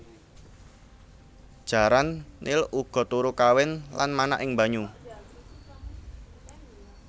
Jaran nil uga turu kawin lan manak ing banyu